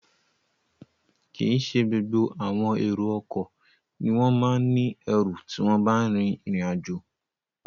Kìí ṣe gbogbo àwọn èrò ọkọ̀ ni wọ́n ma ń ní ẹrù tí wọ́n bá rìnrìn àjò